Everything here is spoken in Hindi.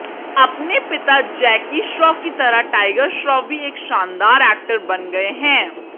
अपने पिता जैकी श्रॉफ की तरह टाइगर श्रॉफ भी एक शानदार एक्टर बन गए हैं